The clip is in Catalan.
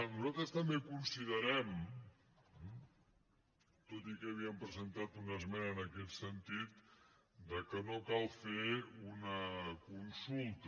nosaltres també considerem tot i que havíem presentat una esmena en aquest sentit que no cal fer una consulta